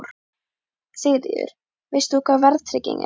Sigríður: Veist þú hvað verðtrygging er?